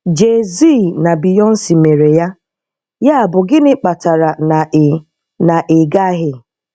Jay-Z na Béyoncé mere ya, yàbụ gínị kpatara na ì na ì gà-aghị́?